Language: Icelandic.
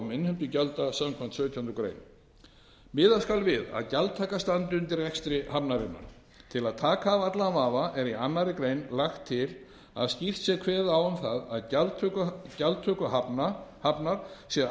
innheimtu gjalda samkvæmt sautjándu grein miða skal við að gjaldtaka standi undir rekstri hafnarinnar til að taka af allan vafa er í annarri grein lagt til að skýrt sé kveðið á um það að gjaldtöku hafnar sé